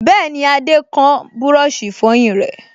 Bẹ́ẹ̀ni, Adé kán búrọ̀sì ìfọyín rẹ̀